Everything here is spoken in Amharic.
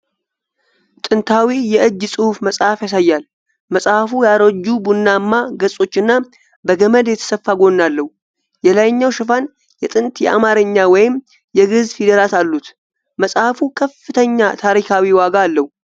ጥንታዊ የእጅ ጽሑፍ መጽሐፍ ያሳያል። መጽሐፉ ያረጁ ቡናማ ገጾችና በገመድ የተሰፋ ጎን አለው። የላይኛው ሽፋን የጥንት የአማርኛ ወይም የግዕዝ ፊደላት አሉት። መጽሐፉ ከፍተኛ ታሪካዊ ዋጋ አለው?